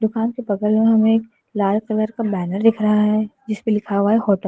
दुकान के बगल में हमें एक लाल कलर का बैनर दिख रहा है जिसपे लिखा हुआ है होटल ।